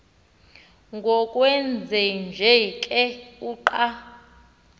ngokwenjenje ke uqa